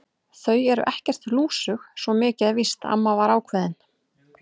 Þau eru ekkert lúsug, svo mikið er víst amma var ákveðin.